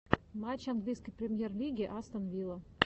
матч английской премьер лиги астон вилла